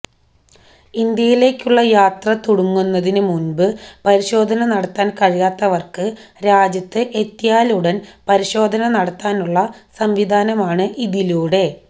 ഇന്ത്യയിലേക്കുള്ള യാത്ര തുടങ്ങുന്നതിന് മുമ്ബ് പരിശോധന നടത്താന് കഴിയാത്തവര്ക്ക് രാജ്യത്ത് എത്തിയാലുടന് പരിശോധന നടത്താനുള്ള സംവിധാനമാണ് ഇതിലൂടെ